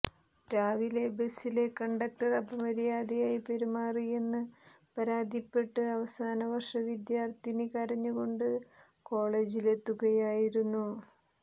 രാവിലെ ബസിലെ കണ്ടക്ടര് അപമര്യാദയായി പെരുമാറിയെന്ന് പരാതിപ്പെട്ട് അവസാന വര്ഷ വിദ്യാര്ഥിനി കരഞ്ഞ് കൊണ്ട് കോളജിലെത്തുകയായിരുന്നു